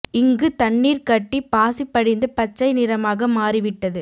இங்கு தண்ணீர் கட்டி பசி படிந்து பச்சை நிறமாக மரி விட்டது